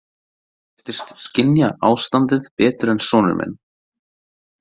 Hún virtist skynja ástandið betur en sonur minn.